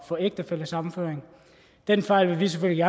få ægtefællesammenføring den fejl vil vi selvfølgelig